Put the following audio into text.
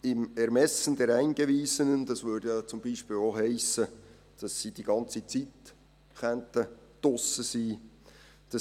Im «Ermessen der Eingewiesenen» hiesse beispielsweise auch, dass sie die ganze Zeit über draussen sein dürften.